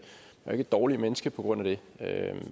et dårligere menneske på grund af det